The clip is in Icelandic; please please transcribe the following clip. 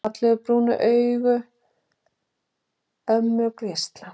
Fallegu, brúnu augun ömmu geisla.